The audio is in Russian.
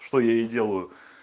что я и делаю